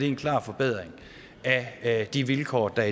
en klar forbedring af de vilkår der